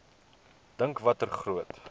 dink watter groot